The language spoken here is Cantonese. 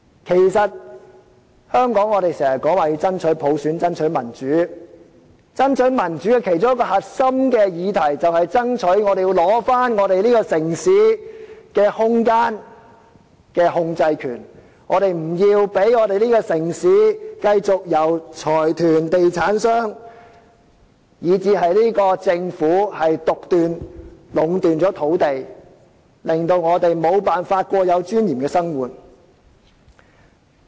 在香港，我們常說要爭取普選，爭取民主，而爭取民主的其中一個核心議題，就是要爭取這個城市的空間控制權，我們不要讓這個城市繼續由財團、地產商，以至政府獨斷、壟斷土地，致令我們無法過有尊嚴的生活。